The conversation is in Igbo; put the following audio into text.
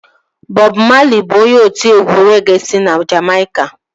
Bọb Mali bụ onye otiegwu regee si na Jamaica